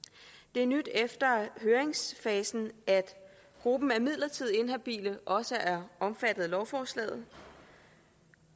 det er nyt efter høringsfasen at gruppen af midlertidigt inhabile også er omfattet af lovforslaget